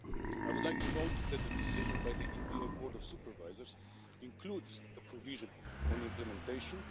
I would like to note that the decision by the EBA Board of Supervisors includes a provision on implementation.